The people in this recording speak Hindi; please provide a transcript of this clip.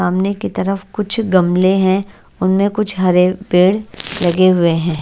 सामने के तरफ कुछ गमले है उनमें कुछ हरे पेड़ लगे हुए है।